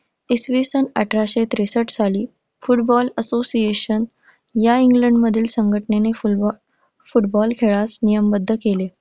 इसवी सन अठराशे त्रेसष्ट साली फुटबॉल association या इंग्लंड मधील संघटनेने फुटबॉ~फुटबॉल खेळास नियमबद्ध केले.